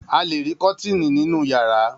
A le rí kọ́tíìnì nínú ìyàrá.